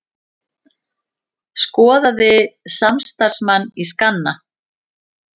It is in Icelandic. Skoðaði samstarfsmann í skanna